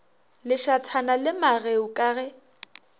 lešathana la mageu ka ge